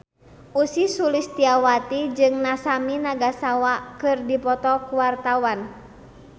Ussy Sulistyawati jeung Masami Nagasawa keur dipoto ku wartawan